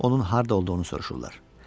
Onun harda olduğunu soruşurlar.